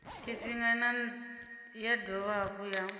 tshifhinga ya dovha hafhu ya